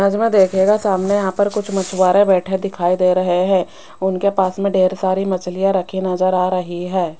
Image मे देखियेगा सामने यहां पर कुछ मछुआरे बैठे दिखाई दे रहे हैं उनके पास में ढेर सारी मछलियां रखी नजर आ रही है।